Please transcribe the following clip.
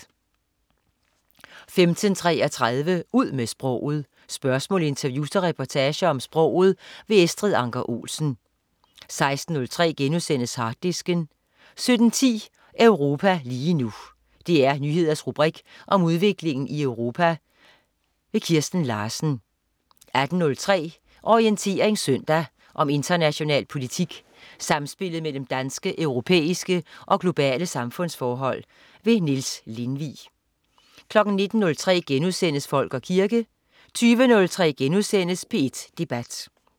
15.33 Ud med sproget. Spørgsmål, interviews og reportager om sproget. Estrid Anker Olsen 16.03 Harddisken* 17.10 Europa lige nu. DR Nyheders rubrik om udviklingen i Europa. Kirsten Larsen 18.03 Orientering søndag. om international politik, samspillet mellem danske, europæiske og globale samfundsforhold. Niels Lindvig 19.03 Folk og kirke* 20.03 P1 Debat*